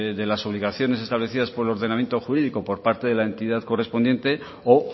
de las obligaciones establecidas por el ordenamiento jurídico por parte de la entidad correspondiente o